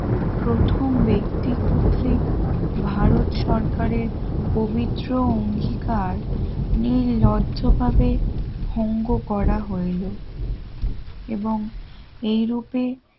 প্রথম ব্যক্তি কর্তৃক ভারত সরকারের পবিত্র অঙ্গীকার নির্লজ্জভাবে ভঙ্গ করা হইল। এবং এইরূপে